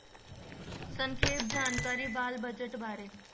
ਸੰਖੇਪ ਜਾਣਕਾਰੀ ਬਾਲ budget ਬਾਰੇ।